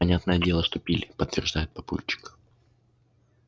понятное дело что пили подтверждает папульчик